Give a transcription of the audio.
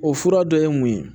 O fura dɔ ye mun ye